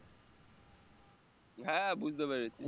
হ্যাঁ বুঝতে পেরেছি